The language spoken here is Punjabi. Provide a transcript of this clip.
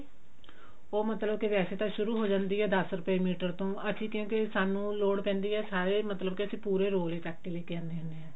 ਉਹ ਮਤਲਬ ਕਿ ਵੇਸੇ ਤਾਂ ਸ਼ੁਰੂ ਹੋ ਜਾਂਦੀ ਆ ਦਸ ਰੁਪੇ ਮੀਟਰ ਤੋਂ ਅਸੀਂ ਕਿਉਕੇ ਸਾਨੂੰ ਲੋੜ ਪੈਂਦੀ ਹੈ ਸਾਰੇ ਮਤਲਬ ਕਿ ਪੂਰੇ roll packet ਲੈਕੇ ਆਉਣੇ ਹਾਂ